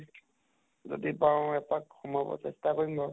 যদি পাৰোঁ, এপাক সোমাব চেষ্টা কৰিম বাৰু ।